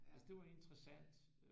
Altså det var interessant